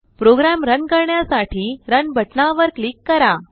programme run करण्यासाठी run बटनावर click करा